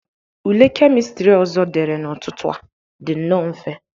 Ule kemistri ọzọ dere n'ụtụtụ a dị nnọọ mfe.